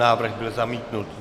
Návrh byl zamítnut.